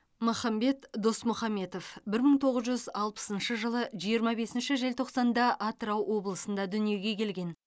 махамбет досмұхамбетов бір мың тоғыз жүз алпысыншы жылы жиырма бесінші желтоқсанда атырау облысында дүниеге келген